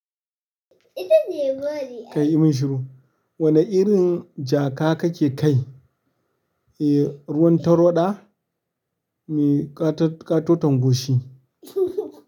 Kai yimin shiru, wani irin jaƙa kake kai? E, ruwan tarwaɗa me ƙatoton goshi.